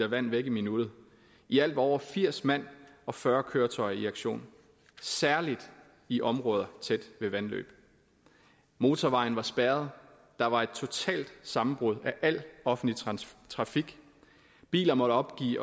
vand væk i minuttet i alt var over firs mand og fyrre køretøjer i aktion særlig i områder tæt ved vandløb motorvejen var spærret der var et totalt sammenbrud af al offentlig trafik biler måtte opgive